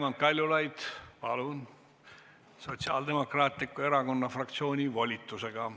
Raimond Kaljulaid, palun, Sotsiaaldemokraatliku Erakonna fraktsiooni volitusega.